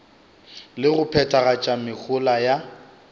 le go phethagatša mehola ya